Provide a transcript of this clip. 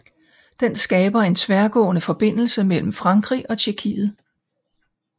Den skaber en tværgående forbindelse mellem Frankrig og Tjekkiet